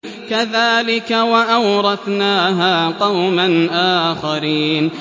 كَذَٰلِكَ ۖ وَأَوْرَثْنَاهَا قَوْمًا آخَرِينَ